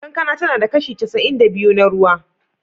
Kankana tana da kashi casa'in da biyu na ruwa.